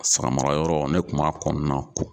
Samara yɔrɔ ne kun b'a kɔnɔna ko.